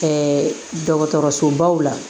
dɔgɔtɔrɔsobaw la